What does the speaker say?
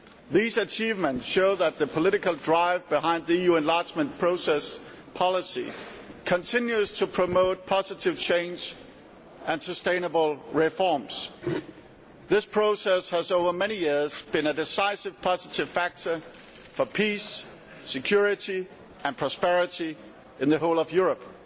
These achievements show that the political drive behind the EU enlargement process policy continues to promote positive change and sustainable reforms. This process has over many years been a decisive positive factor for peace, security and prosperity throughout Europe.